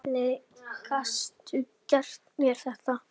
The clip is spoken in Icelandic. Hvernig gastu gert mér þetta?